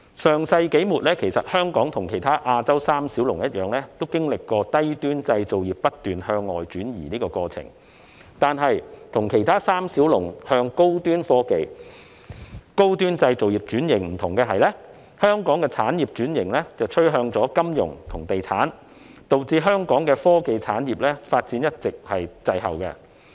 上世紀末，香港和其他亞洲三小龍一樣，經歷了低端製造業不斷向外轉移的過程，但是，不同於其他三小龍向高端科技製造業轉型，香港的產業轉型趨向金融和地產，導致香港的科技產業發展一直滯後。